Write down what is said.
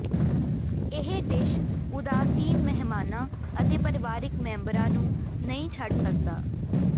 ਇਹ ਡਿਸ਼ ਉਦਾਸੀਨ ਮਹਿਮਾਨਾਂ ਅਤੇ ਪਰਿਵਾਰਕ ਮੈਂਬਰਾਂ ਨੂੰ ਨਹੀਂ ਛੱਡ ਸਕਦਾ